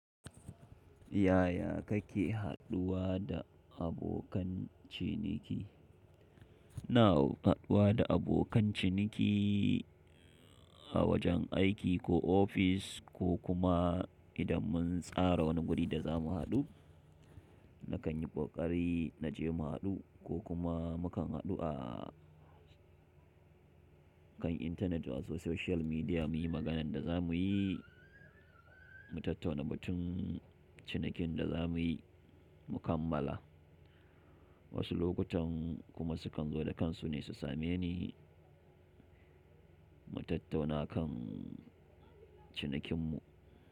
Yaya kake haɗuwa da abokan ciniki? Ina haɗuwa da abokan ciniki a wajen aiki ko ofis ko kuma idan mun tsara wani guri da za mu haɗu, na kan yi ƙoƙari na je mu haɗu ko kuma mu kan haɗu a kan intanet wato social media muyi maganan da za muyi, mu tattauna batun cinikin da za muyi mu kammala. Wasu lokutan kuma su kan zo da kansu ne su same ni mu tattauna kan cinikin mu.